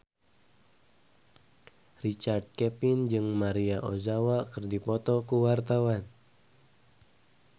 Richard Kevin jeung Maria Ozawa keur dipoto ku wartawan